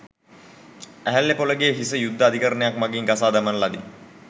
ඇහැලේපොලගේ හිස යුද්ධ අධිකරණයක් මඟින් ගසා දමන ලදී